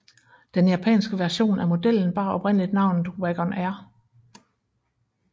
Den japanske version af modellen bar oprindeligt navnet Wagon R